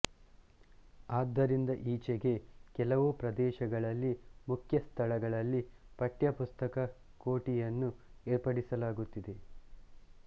ಆದ್ದರಿಂದ ಈಚೆಗೆ ಕೆಲವು ಪ್ರದೇಶಗಳಲ್ಲಿ ಮುಖ್ಯ ಸ್ಥಳಗಳಲ್ಲಿ ಪಠ್ಯಪುಸ್ತಕ ಕೋಠಿಯನ್ನು ಏರ್ಪಡಿಸಲಾಗುತ್ತಿದೆ